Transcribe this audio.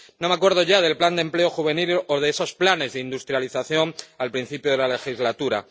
No me acuerdo ya del plan de empleo juvenil o de esos planes de industrialización del principio de la legislatura.